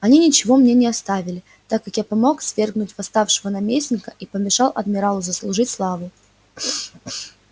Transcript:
они ничего мне не оставили так как я помог свергнуть восставшего наместника и помешал адмиралу заслужить славу